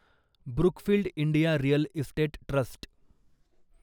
Brookfield India real estate trust